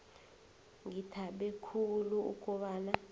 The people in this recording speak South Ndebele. ngithabe khulu ukobana